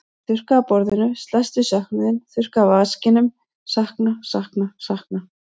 Ég þurrka af borðinu, slæst við söknuðinn, þurrka af vaskinum, sakna, sakna, sakna.